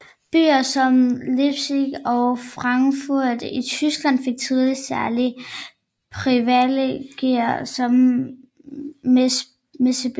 Byer som Leipzig og Frankfurt i Tyskland fik tidligt særlige privilegier som messebyer